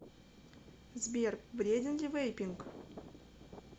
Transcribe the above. сбер вреден ли вейпинг